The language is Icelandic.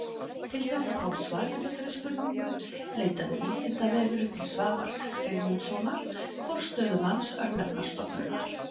Til þess að fá svar við þessari spurningu leitaði Vísindavefurinn til Svavars Sigmundssonar forstöðumanns Örnefnastofnunar.